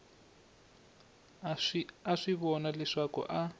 a swi vona leswaku a